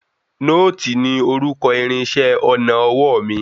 Nóòtì ní orúkọ irinṣẹ́ ọnà ọwọ́ mi.